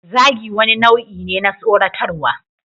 Zagi wani nau'i ne na tsoratarwa.